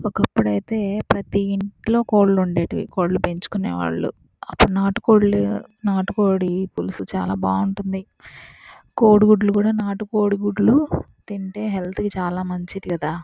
ఒకఅప్పుడు అయితే ప్రతి ఇంట్లో కోడ్లు ఉండేటివి కోడ్లు పెంచుకొనే వాళ్ళు అప్పుడు నాటు కోడ్లు నాటు కోడి పులుసు చాల బాగుంటుంది కోడిగుడ్లు కూడా నాటు కోడి గుడ్లు తింటే హెల్త్ కి చాల మంచిది కదా.